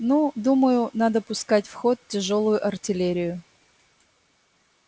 ну думаю надо пускать в ход тяжёлую артиллерию